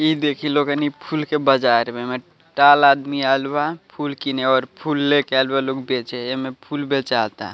इ देखि लोग एनी फूल के बाजार में में टाल आदमी आईल बा फूल कीने और फूल लेकर आईल बा लोग बेचे एऐमे फूल बेचाता।